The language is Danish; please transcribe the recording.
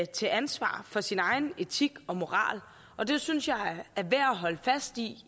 til ansvar for sin egen etik og moral og det synes jeg er værd at holde fast i